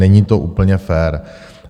Není to úplně fér.